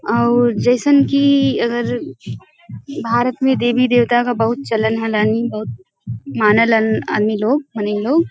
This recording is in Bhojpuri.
अउर जइसन कि अगर भारत में देवी देवता क बहुत चलन होलन ई बहुत माने लन आदमी लोग --